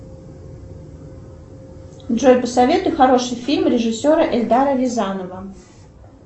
джой посоветуй хороший фильм режиссера эльдара рязанова